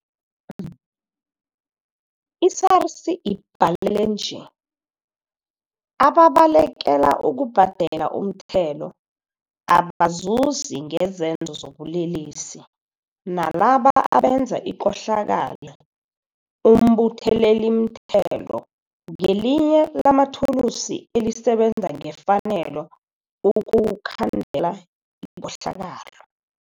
I-SARS ibalele nje, ababalekela ukubhadela umthelo, abazuzi ngezenzo zobulelesi, nalabo abenza ikohlakalo 'umbuthelelimthelo' ngelinye lamathulusi elisebenza ngefanelo ukukhandela ikohlakalo.